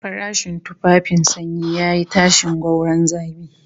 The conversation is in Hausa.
Farashin tufafin sanyi yayi tashin gwauron zabi